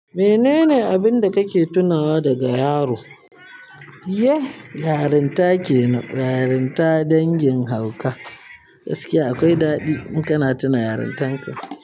Menene abin da kake tunawa daga yaro? Iyeh, yarinta ke nan. Yarinta dangin hauka. Gaskiya akwai daɗi in kana tuna yarintan ka.